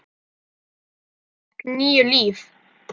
Pabbi fékk níu líf.